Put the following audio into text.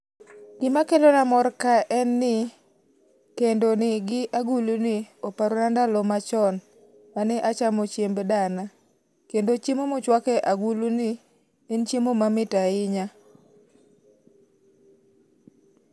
GIma kelo na mor ka en ni, kendo ni gi agulu ni oparo na ndalo machon, ma ne achamo chiemb dana. Kendo chiemo mochwak e agulu ni, en chiemo mamit ahinya.